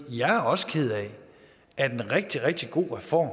jeg er også ked af at en rigtig rigtig god reform